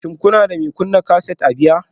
Shin kuna da mai kunna kaset a baya?